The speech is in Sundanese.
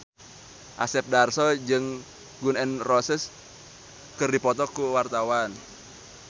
Asep Darso jeung Gun N Roses keur dipoto ku wartawan